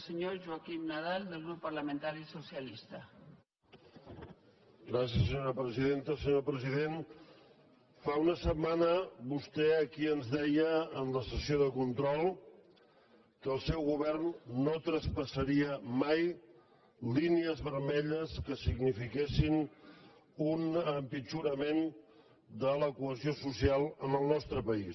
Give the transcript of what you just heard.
senyor president fa una set·mana vostè aquí ens deia en la sessió de control que el seu govern no traspassaria mai línies vermelles que sig·nifiquessin un empitjorament de la cohesió social en el nostre país